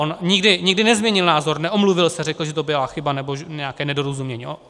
On nikdy nezměnil názor, neomluvil se, řekl, že to byla chyba, nebo nějaké nedorozumění.